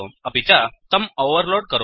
अपि च तम् ओवर्लोड् करोतु